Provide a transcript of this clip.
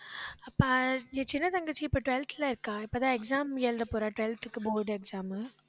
ப~ சின்ன தங்கச்சி, இப்ப twelfth ல இருக்கா. இப்பதான் exam எழுதப் போறா twelfth க்கு board exam